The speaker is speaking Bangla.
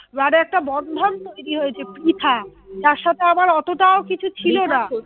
মানে একটা বন্ধন তৈরী হয়েছে পৃথা যার সাথে আমার অতটাও কিছু ছিল না।